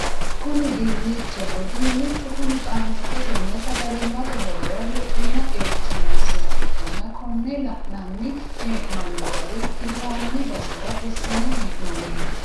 Kuni dinnichaho dinnichu kuni qaamattote nna sagalimmate horora luphiimu qeechi noosiha ikkanna konne la'nanni hee'noommo gari hirranni basera fushshine hee'noonniho.